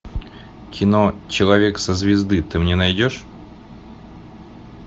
кино человек со звезды ты мне найдешь